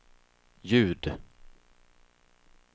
ljud